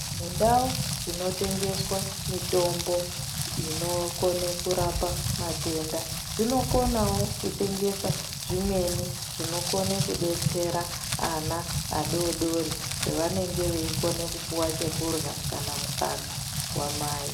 Mundau dzinotengeswa mitombo inokone kurape matenda dzinokonawo kutengesa zvimweni zvinokone kudetsera ana adodori pevanenge veikone kupuwa chikurya kana mukaka wamai.